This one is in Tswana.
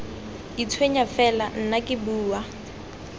itshwenya fela nna ke bua